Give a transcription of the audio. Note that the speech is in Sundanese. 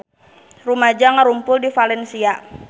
Rumaja ngarumpul di Valencia